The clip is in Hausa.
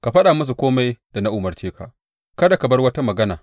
Ka faɗa musu kome da na umarce ka; kada ka bar wata magana.